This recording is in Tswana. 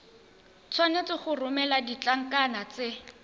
tshwanetse go romela ditlankana tse